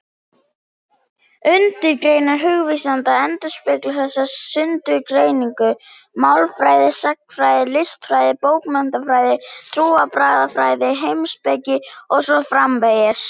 Undirgreinar hugvísinda endurspegla þessa sundurgreiningu: málfræði, sagnfræði, listfræði, bókmenntafræði, trúarbragðafræði, heimspeki og svo framvegis.